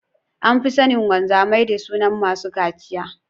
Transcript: An fi sanin wamzamai da sunan masu cachiya.